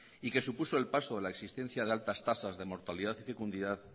y que supuso el paso de la existencia de altas tasas de mortalidad fecundidad